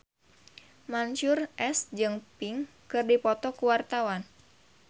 Mansyur S jeung Pink keur dipoto ku wartawan